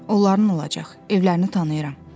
Onların olacaq, evlərini tanıyıram.